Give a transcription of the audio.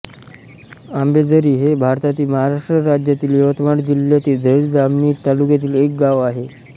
आंबेझरी हे भारतातील महाराष्ट्र राज्यातील यवतमाळ जिल्ह्यातील झरी जामणी तालुक्यातील एक गाव आहे